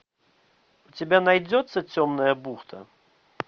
у тебя найдется темная бухта